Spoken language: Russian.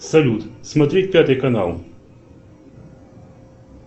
салют смотреть пятый канал